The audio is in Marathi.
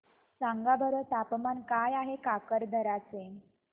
सांगा बरं तापमान काय आहे काकरदरा चे